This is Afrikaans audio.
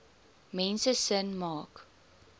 mense sin maak